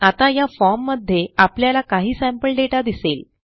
आता या फॉर्म मध्ये आपल्याला काही सॅम्पल दाता दिसेल